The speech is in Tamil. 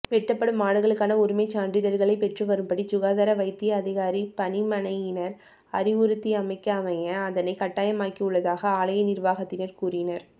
வெட்டப்படும் ஆடுகளுக்கான உரிமைச் சான்றிதழ்களை பெற்றுவரும்படி சுகாதார வைத்தியதிகாரி பணிமனையினர் அறிவுறுத்தியமைக்கமைய அதனை கட்டாயமாக்கியுள்ளதாக ஆலய நிர்வாகத்தினர் கூறினர்